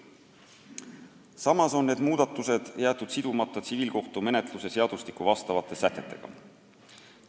Samas on need muudatused jäetud sidumata tsiviilkohtumenetluse seadustiku vastavate sätetega.